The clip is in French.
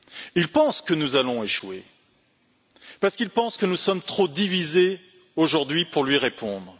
Il pense que nous allons échouer, parce qu'il pense que nous sommes trop divisés aujourd'hui pour lui répondre.